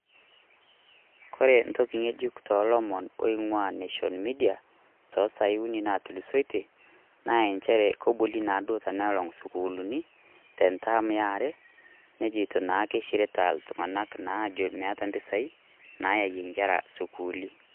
Kore ntoki yeejuk to lomoon oing'ua nation media toosaai uni naatulusoitie, naa encheere keboli naado tenelang' sukuulini te ntaami aare najeitoo naake kesiritaa ltung'anak ajo meeta mpisai naeyie nkerra sukuuli.